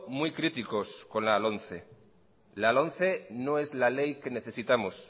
muy críticos con la lomce la lomce no es la ley que necesitamos